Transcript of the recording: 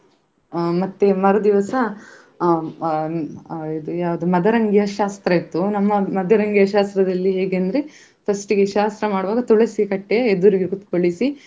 ಅಹ್ ಮರುದಿವ್ಸ ಅಹ್ ಅಹ್ ಅಹ್ ಯಾವುದು ಮದರಂಗಿಯ ಶಾಸ್ತ್ರ ಇತ್ತು ನಮ್ಮ ಮದರಂಗಿಯ ಶಾಸ್ತ್ರದಲ್ಲಿ ಹೇಗೆ ಅಂದ್ರೆ first ಗೆ ಶಾಸ್ತ್ರ ಮಾಡುವಾಗ ತುಳಸಿಕಟ್ಟೆಯ ಎದುರಿಗೆ ಕುತ್ಕೋಳಿಸಿ.